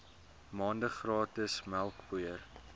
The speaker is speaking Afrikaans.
maande gratis melkpoeier